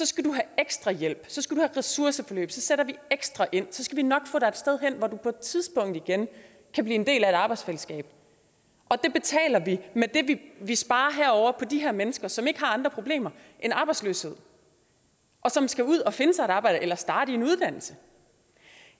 skal du have ekstra hjælp så skal ressourceforløb så sætter vi ekstra ind så skal vi nok få dig et sted hen hvor du på et tidspunkt igen kan blive en del af et arbejdsfællesskab og det betaler vi med det vi sparer på de mennesker som ikke har andre problemer end arbejdsløshed og som skal ud og finde sig et arbejde eller starte i en uddannelse